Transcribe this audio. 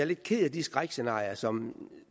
lidt ked af de skrækscenarier som